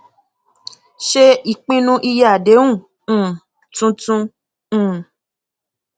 ṣe ìpinnu iye àdéhùn um tuntun um